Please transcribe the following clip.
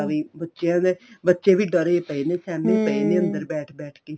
ਵੀ ਬੱਚਿਆਂ ਦਾ ਬੱਚੇ ਵੀ ਡਰੇ ਪਏ ਨੇ ਸਿਹਮੇ ਪਏ ਨੇ ਅੰਦਰ ਬੈਠ ਬੈਠ ਕੇ